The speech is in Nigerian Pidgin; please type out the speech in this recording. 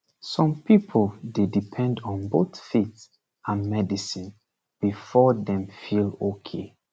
some people dey depend on both faith and medicine before dem feel okay